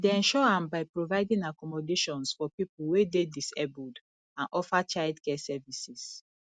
i dey ensure am by providing accommodations for people wey dey disabled and offer childcare services